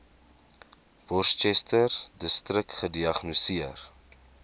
worcesterdistrik gediagnoseer